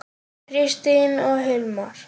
Kristín og Hilmar.